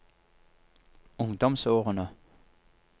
ungdomsårene